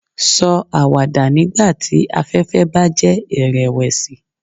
Sọ awada nigbati afẹfẹ ba jẹ irẹwẹsi